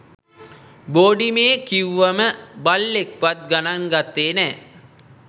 බෝඩිමේ කිව්වම බල්ලෙක්වත් ගණන් ගත්තේ නෑ